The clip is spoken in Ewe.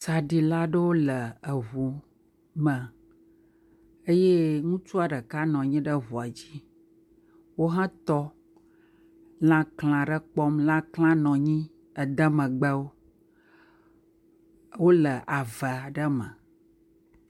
Tsaɖila aɖewo le ŋu me eye ŋutsua ɖeka nɔ anyi ɖe ŋua dzi. Wohe tɔ, lãklẽ aɖe kpɔm. Lãklẽa nɔ anyi ede megbe wo. Wole ave aɖe me.